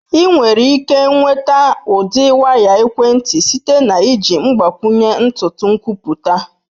Ị nwere ike nweta ụdị waya ekwentị site na iji mgbakwunye ntutu nkwupụta.